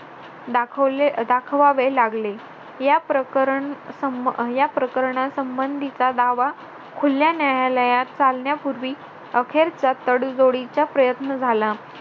दाखवले दाखवावे लागले या प्रकरण संबंधीचा दावा खुल्या न्यायालयात चालण्यापूर्वी अखेरचा तडजोडीचा प्रयत्न झाला